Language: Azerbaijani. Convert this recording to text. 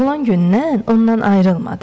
Doğulan gündən ondan ayrılmadı.